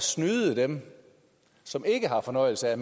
snyde dem som ikke har fornøjelse af